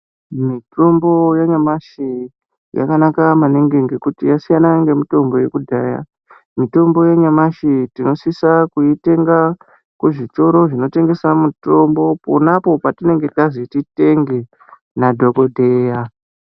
Mitombo yanyamashi yakanaka maningi ngekuti yasiyana ngemitombo yekudhaya mitombo yanyamashi tinosisa kuitenga kuzvitoro zvinotengeswa mitombo Pona apo patinenge tazititenge nadhokodheya.